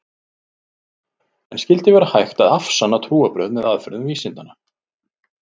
En skyldi vera hægt að afsanna trúarbrögð með aðferðum vísindanna?